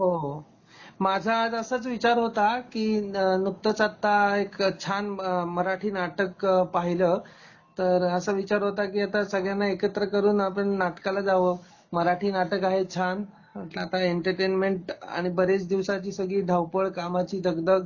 हो, हो माझा आज असाच विचार होता की नुकतंच आत्ता एक छान मराठी नाटक पाहिल, तर असा विचार होता की आता संगळ्याना एकत्र करून आपण नाटकाला जाव, मराठी नाटक आहे छान, म्हणल आता एंटरटेनमेंट आणि बरेच दिवसाची सगळी धावपळ, कामाची दगदग